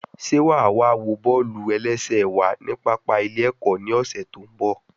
Sé wàá wá wo bọ́ọ̀lù-ẹlẹ́sẹ̀ wa ní pápá ilé ẹ̀kọ́ ní ọ̀sẹ̀ tó ń bọ̀?